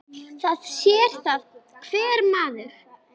Það sér það hver maður.